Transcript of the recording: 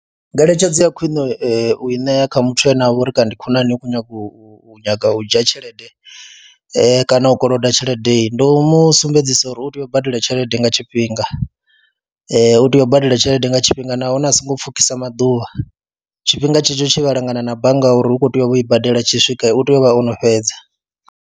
Ngeletshedzo ya khwine u i ṋea kha muthu ane a vha uri kana ndi khonani u khou nyaga u nyaga u dzhia tshelede kana u koloda tshelede, ndi u mu sumbedzisa uri u tea u badela tshelede tshifhinga, u tea u badela tshelede nga tshifhinga nahone a songo pfhukisa maḓuvha, tshifhinga tshetsho tshe vha langana na bannga uri u khou tea u vha o i badela tshi swika u tea u vha o no fhedza.